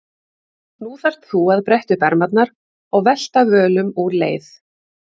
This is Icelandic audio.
Nú þarft þú að bretta upp ermarnar og velta völum úr leið.